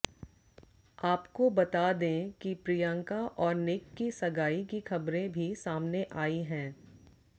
आपको बता दें कि प्रियंका और निक की सगाई की खबरें भी सामने आई हैं